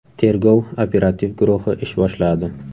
Tergov-operativ guruhi ish boshladi.